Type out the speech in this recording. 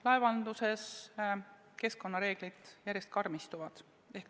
Laevanduses keskkonnareeglid järjest karmistuvad.